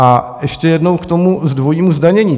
A ještě jednou k tomu dvojímu zdanění.